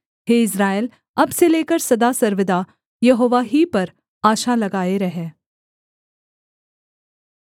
हे Israel अब से लेकर सदा सर्वदा यहोवा ही पर आशा लगाए रह